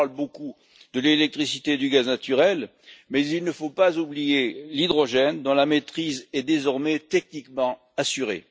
On parle beaucoup de l'électricité et du gaz naturel, mais il ne faut pas oublier l'hydrogène, dont la maîtrise est désormais techniquement assurée.